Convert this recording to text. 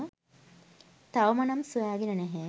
තවම නම් සොයාගෙන නැහැ.